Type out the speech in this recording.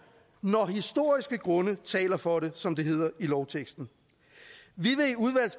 når historiske grunde taler for det som det hedder i lovteksten vi